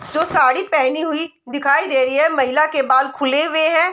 सो साड़ी पहनी हुई दिखाई दे रही है महिला के बाल खुले हुए हैं।